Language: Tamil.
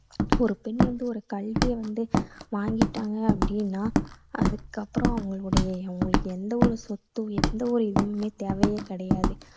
ஒரு பெண் வந்து ஒரு கல்வியை வந்து வாங்கிட்டாங்க அப்படின்னா அதுக்கப்புறம் அவங்களுடைய அவங்களுக்கு எந்த ஒரு சொத்தும் எந்த ஒரு இதுவுமே தேவையே கிடையாது.